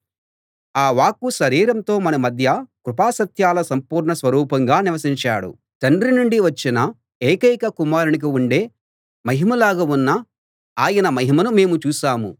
ఆ వాక్కు శరీరంతో మన మధ్య కృపా సత్యాల సంపూర్ణ స్వరూపంగా నివసించాడు తండ్రి నుండి వచ్చిన ఏకైక కుమారునికి ఉండే మహిమలాగా ఉన్న ఆయన మహిమను మేము చూశాము